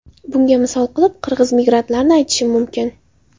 Bunga misol qilib qirg‘iz migrantlarini aytishim mumkin.